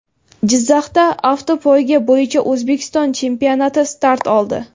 Jizzaxda avtopoyga bo‘yicha O‘zbekiston chempionati start oldi.